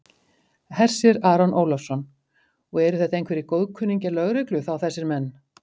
Hersir Aron Ólafsson: Og eru þetta einhverjir góðkunningjar lögreglu þá þessir menn?